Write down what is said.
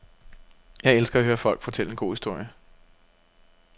Jeg elsker at høre folk fortælle en god historie.